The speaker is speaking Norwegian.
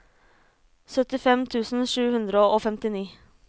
syttifem tusen sju hundre og femtini